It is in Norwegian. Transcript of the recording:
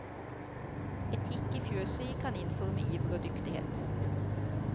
Etikk i fjøset gikk han inn for med iver og dyktighet.